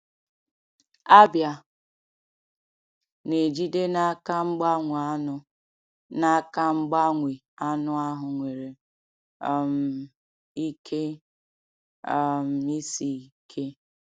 Abịa na-ejide n’aka mgbanwe anụ n’aka mgbanwe anụ ahụ nwere um ike um isi ike.